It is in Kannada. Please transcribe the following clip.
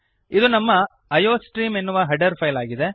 ಇದು ನಮ್ಮ ಐಯೋಸ್ಟ್ರೀಮ್ ಎನ್ನುವ ಹೆಡರ್ ಫೈಲ್ ಆಗಿದೆ